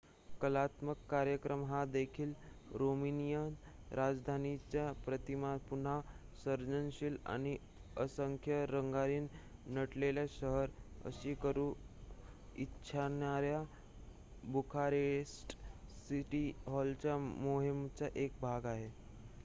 कलात्मक कार्यक्रम हा देखील रोमानियन राजधानीची प्रतिमा पुन्हा सर्जनशील आणि असंख्य रंगांनी नटलेले शहर अशी करू इच्छिणाऱ्या बुखारेस्ट सिटी हॉलच्या मोहिमेचा एक भाग आहे